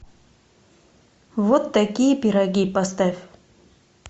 вот такие пироги поставь